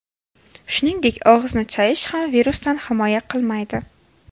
Shuningdek, og‘izni chayish ham virusdan himoya qilmaydi.